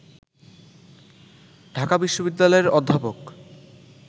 ঢাকা বিশ্ববিদ্যালয়ের অধ্যাপক